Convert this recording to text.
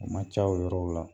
O ma ca o yɔrɔ la